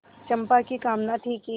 चंपा की कामना थी कि